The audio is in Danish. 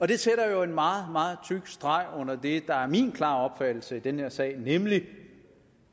det sætter jo en meget meget tyk streg under det der er min klare opfattelse i den her sag nemlig